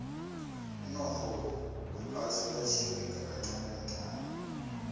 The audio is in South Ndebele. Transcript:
umnotho wephasi uyarhirika kancani kancani